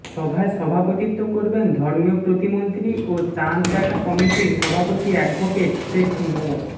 সভায় সভাপতিত্ব করবেন ধর্ম প্রতিমন্ত্রী ও চাঁদ দেখা কমিটির সভাপতি অ্যাডভোকেট শেখ মো